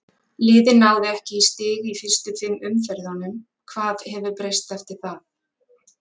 Liðið náði ekki í stig í fyrstu fimm umferðunum, hvað hefur breyst eftir það?